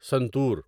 santoor